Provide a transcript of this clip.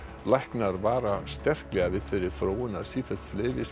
læknar vara sterklega við þeirri þróun að sífellt fleiri